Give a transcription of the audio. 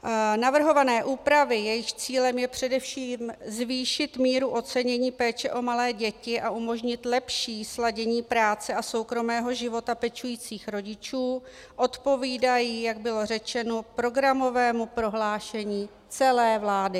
Navrhované úpravy, jejichž cílem je především zvýšit míru ocenění péče o malé děti a umožnit lepší sladění práce a soukromého života pečujících rodičů, odpovídají, jak bylo řečeno, programovému prohlášení celé vlády.